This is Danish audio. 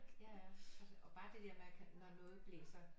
Ja ja og bare det der med når noget blæser